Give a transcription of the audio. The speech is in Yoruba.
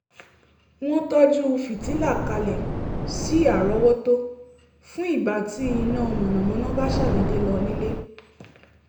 wọ́n tọ́jú fìtílà kalẹ̀ sí árọ́wọ́tó fún ìgbà tí iná mànàmáná bá ṣàdédé lọ nílé